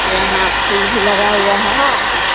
यहाँ फूल भी लगा हुआ है।